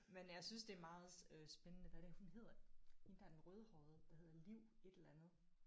Men jeg synes det er meget øh spændende hvad er det hun hedder hende der den rødhårede der hedder Liv et eller andet